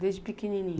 Desde pequenininho?